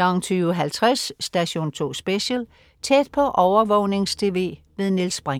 20.50 Station 2 Special: Tæt på overvågnings-TV. Niels Brinch